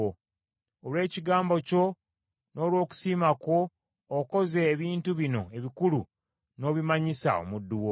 Olw’ekigambo kyo n’olw’okusiima kwo, okoze ebintu bino ebikulu, n’obimanyisa omuddu wo.